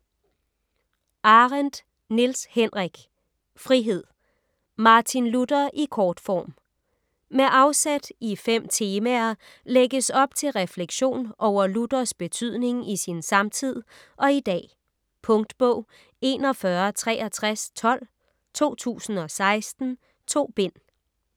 Arendt, Niels Henrik: Frihed: Martin Luther i kortform Med afsæt i fem temaer lægges op til refleksion over Luthers betydning i sin samtid og i dag. Punktbog 416312 2016. 2 bind.